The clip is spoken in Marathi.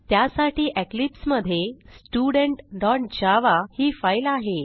त्यासाठी इक्लिप्स मधे studentजावा ही फाईल आहे